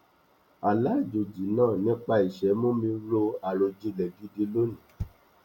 àlá àjòjì náà nípa iṣẹ mú mi ro àròjinlẹ gidi lóní